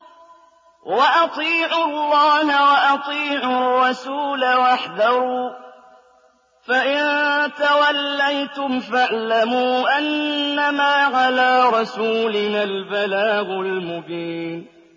وَأَطِيعُوا اللَّهَ وَأَطِيعُوا الرَّسُولَ وَاحْذَرُوا ۚ فَإِن تَوَلَّيْتُمْ فَاعْلَمُوا أَنَّمَا عَلَىٰ رَسُولِنَا الْبَلَاغُ الْمُبِينُ